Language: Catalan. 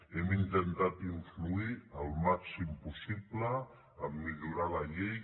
hem intentat influir al màxim possible a millorar la llei